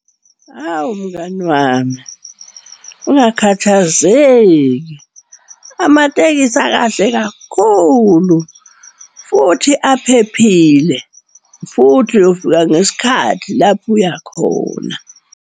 Awu mngani wami, ungakhathazeki. Amatekisi akahle kakhulu futhi aphephile, futhi uyofika ngesikhathi lapho uya khona.